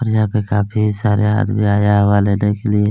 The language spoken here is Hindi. और यहाँ पे काफी सारे आदमी आया लेने के लिए--